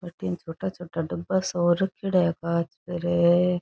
अठीने छोटा छोटा डब्बा सा रखेड़ा है कांच पर --